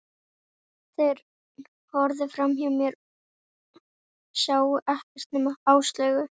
Þeir horfðu framhjá mér, sáu ekkert nema Áslaugu.